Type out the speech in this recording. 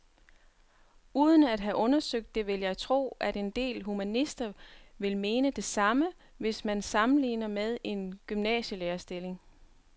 Uden at have undersøgt det vil jeg tro, at en del humanister vil mene det samme, hvis man sammenligner med en gymnasielærerstilling.